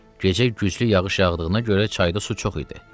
Gecə güclü yağış yağdığına görə çayda su çox idi.